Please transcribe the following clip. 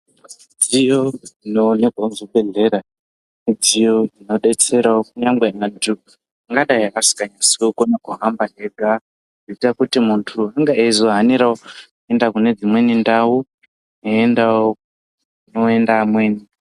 Midziyo inoonekwa muzvibhedhlera midziyo inodetserawo kunyangwe antu angadayi asinganatsi kukona kuhamba ega, inoita kuti muntu unge eizohanirawo kuenda kune dzimweni ndau, eiendawo kunoenda amweni.